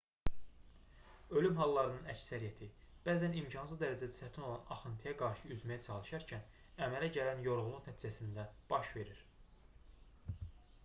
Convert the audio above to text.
ölüm hallarının əksəriyyəti bəzən imkansız dərəcədə çətin olan axıntıya qarşı üzməyə çalışarkən əmələ gələn yorğunluq nəticəsində baş verir